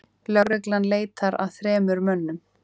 Lögreglan leitar að þremur mönnum